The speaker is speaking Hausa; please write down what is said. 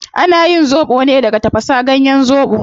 Ana yin zobo ne daga tafasa ganyen zobo